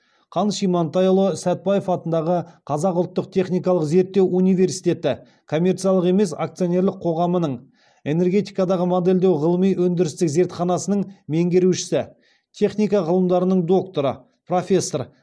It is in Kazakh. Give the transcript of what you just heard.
қаныш имантайұлы сәтбаев атындағы қазақ ұлттық техникалық зерттеу университеті коммерциялық емес акционерлік қоғамының энергетикадағы модельдеу ғылыми өндірістік зертханасының меңгерушісі техника ғылымдарының докторы профессор